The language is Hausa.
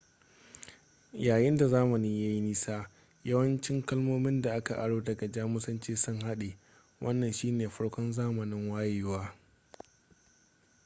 yayin da zamani ya yi nisa yawancin kalmomin da aka aro daga jamusanci sun haɗe wannan shi ne farko zamanin wayewa